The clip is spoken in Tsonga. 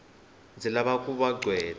ndzi lava ku va gqweta